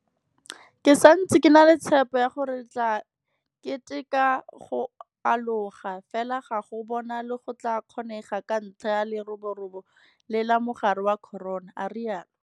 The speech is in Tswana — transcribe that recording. Ke santse ke na le tshepo ya gore re tla keteka go aloga, fela ga go bonale go tla kgonega ka ntlha ya leroborobo le la mogare wa corona, a rialo.